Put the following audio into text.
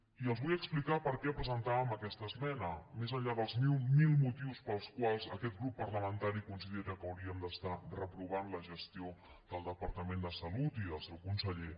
i els vull explicar per què presentàvem aquesta esmena més enllà dels mil motius pels quals aquest grup parlamentari considera que hauríem de reprovar la gestió del departament de salut i del seu conseller